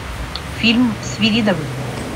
фильм свиридовы